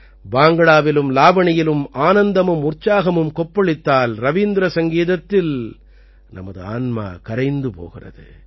பாங்க்டாவிலும் லாவணியிலும் ஆனந்தமும் உற்சாகமும் கொப்பளித்தால் ரவீந்திர சங்கீதத்தில் நமது ஆன்மா கரைந்து போகிறது